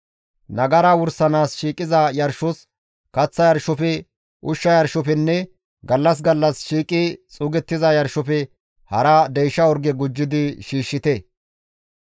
Nagara wursanaas shiiqiza yarshos, kaththa yarshofe, ushsha yarshofenne gallas gallas shiiqi xuugettiza yarshofe hara deysha orge gujjidi shiishshite.